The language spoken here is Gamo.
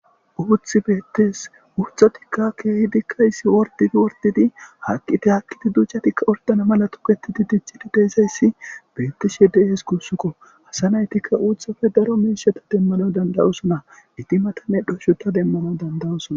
Uththi beetees. muchotikka keehidikka issi ordidi ordidi haakidi haakkidi duccatikka ordana mala tokketidi diccidi de'izayasi beetishe de'es guusikko. Asa naytikka uuthappe daro miishata demanaw danda'osona . Etti mata medhosho demanaw danda'osona.